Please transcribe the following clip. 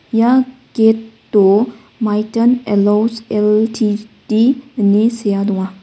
ia get o maithan allos L_T_D ine sea donga.